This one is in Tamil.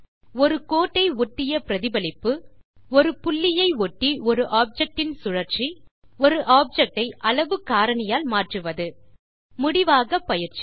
ஒரு கோட்டை ஒட்டிய பிரதிபலிப்பு ஒரு புள்ளியை ஒட்டி ஒரு ஆப்ஜெக்ட் இன் சுழற்சி ஒரு ஆப்ஜெக்ட் ஐ அளவு காரணியால் மாற்றுவது முடிவாக பயிற்சி